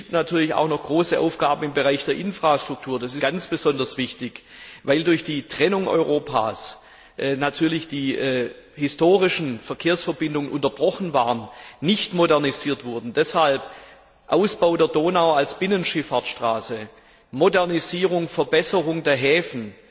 Es gibt natürlich auch noch große Aufgaben im Bereich der Infrastruktur. Das ist der ALDE Fraktion ganz besonders wichtig, weil durch die Trennung Europas natürlich die historischen Verkehrsverbindungen unterbrochen waren, nicht modernisiert wurden. Deshalb sind der Ausbau der Donau als Binnenschifffahrtsstraße, die Modernisierung und Verbesserung der Häfen